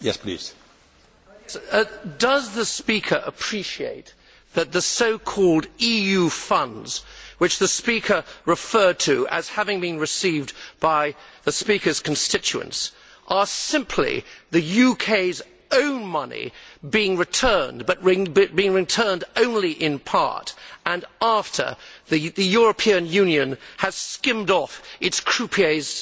Mr President, does the speaker appreciate that the so called EU funds which she referred to as having been received by her constituents are simply the UK's own money being returned, but being returned only in part and after the European Union has skimmed off its croupier's